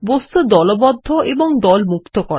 বস্তু দলবদ্ধ এবং দল মুক্ত করা